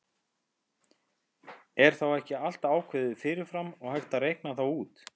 Er þá ekki allt ákveðið fyrir fram og hægt að reikna það út?